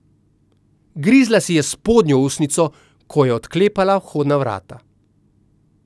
Grizla si je spodnjo ustnico, ko je odklepala vhodna vrata.